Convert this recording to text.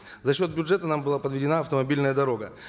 за счет бюджета нам была подведена автомобильная дорога